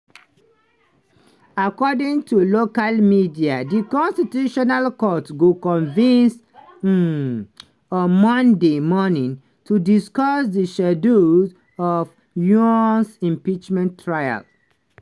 according to local media di constitutional court go convene um on monday morning to discuss di schedule of yoon's impeachment trial.